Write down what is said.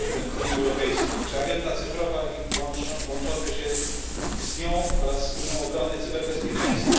Unii Europejskiej czy agenda cyfrowa i łączące się z nią oraz z Unią Obrony cyberbezpieczeństwo.